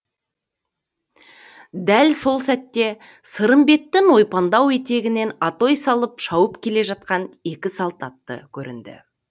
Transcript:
дәл сол сәтте сырымбеттің ойпаңдау етегінен атой салып шауып келе жатқан екі салт атты көрінді